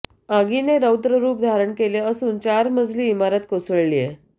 आगीने रौद्ररुप धारण केलं असून चार मजली इमारत कोसळलीये